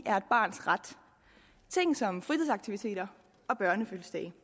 er et barns ret ting som fritidsaktiviteter og børnefødselsdage